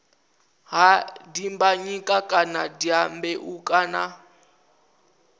ha dimbanyika kana dyambeu kana